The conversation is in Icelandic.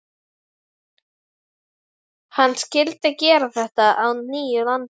Hann skyldi gera þetta að nýju landi.